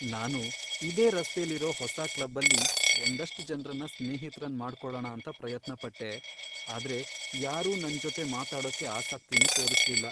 ನಾನು ಇದೇ ರಸ್ತೆಲಿರೋ ಹೊಸ ಕ್ಲಬ್ಬಲ್ಲಿ ಒಂದಷ್ಟ್ ಜನ್ರನ್ನ ಸ್ನೇಹಿತ್ರನ್ ಮಾಡ್ಕೊಳಣ ಅಂತ ಪ್ರಯತ್ನ ಪಟ್ಟೆ, ಆದ್ರೆ ಯಾರೂ ನನ್ಜೊತೆ ಮಾತಾಡೋಕೆ ಆಸಕ್ತಿನೇ ತೋರಿಸ್ಲಿಲ್ಲ.